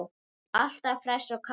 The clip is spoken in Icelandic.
Alltaf hress og kát.